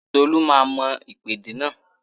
Tolu máa mọ ìpèdè náà